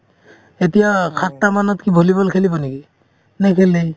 এতিয়া সাতটা মানত volleyball খেলিব নেকি নেখেলে